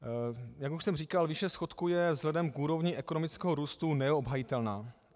Jak už jsem říkal, výše schodku je vzhledem k úrovni ekonomického růstu neobhajitelná.